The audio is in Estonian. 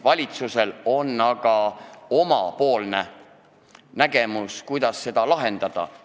Valitsusel on aga oma nägemus, kuidas seda lahendada.